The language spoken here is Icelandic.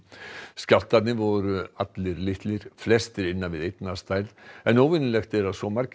skjálftarnir voru allir litlir flestir innan við einn að stærð en óvenjulegt er að svo margir